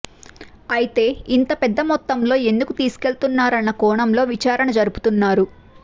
అయితే ఇంత పెద్ద మొత్తంలో ఎందుకు తీసుకెళ్తున్నారన్న కోణంలో విచారణ జరుపుతున్నారు